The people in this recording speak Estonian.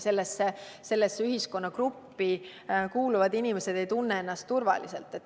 Sellesse ühiskonnagruppi kuuluvad inimesed ei tunne ennast enam turvaliselt.